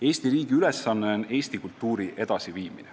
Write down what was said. Eesti riigi ülesanne on Eesti kultuuri edasi viia.